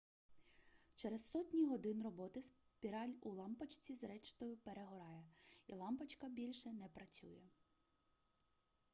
через сотні годин роботи спіраль у лампочці зрештою перегорає і лампочка більше не працює